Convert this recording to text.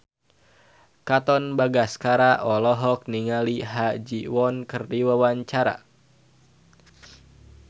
Katon Bagaskara olohok ningali Ha Ji Won keur diwawancara